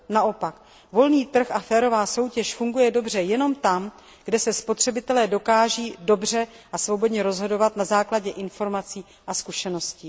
Naopak, volný trh a férová soutěž funguje dobře jenom tam, kde se spotřebitelé dokáží dobře a svobodně rozhodovat na základě informací a zkušeností.